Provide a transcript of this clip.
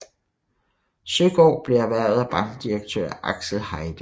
Søgaard blev erhvervet af bankdirektør Axel Heide